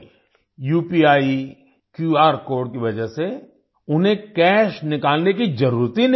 UPI QR code की वजह से उन्हें कैश निकालने की ज़रूरत ही नहीं पड़ी